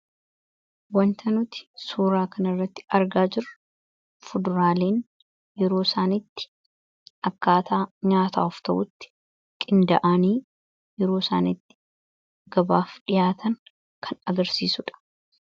Wanta nuti suuraa kana irratti argaa jiru fuduraaleen yeroo isaaniitti akkaataa nyaataa ta'utti qinda'aanii yeroo isaanitti gabaaf dhihaatan kan agarsiisuudha.